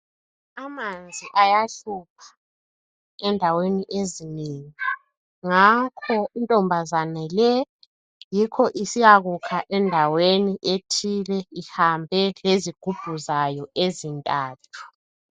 Amanzi ayahlupha endaweni ezinengi. Ngakho intombazana le, yikho isiyakukha endaweni ethile, ihambe lezigubhu zayo ezintathu.